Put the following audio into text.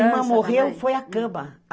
A minha irmã morreu, foi a cama.